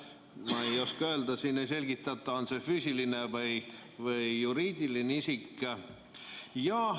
Ma ei oska öelda, siin ei selgitata, kas see on füüsiline või juriidiline isik.